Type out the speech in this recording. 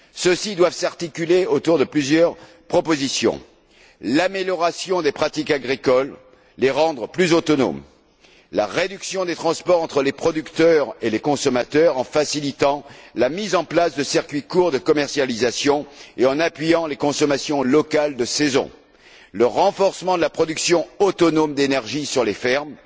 Ceux ci doivent s'articuler autour de plusieurs propositions l'amélioration des pratiques agricoles, en les rendant plus autonomes, la réduction des transports entre les producteurs et les consommateurs, en facilitant la mise en place de circuits courts de commercialisation et en appuyant les consommations locales de saison, le renforcement de la production autonome d''énergie sur les fermes,